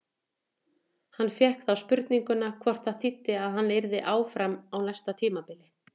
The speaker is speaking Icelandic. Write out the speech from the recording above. Hann fékk þá spurninguna hvort það þýddi að hann yrði áfram á næsta tímabili?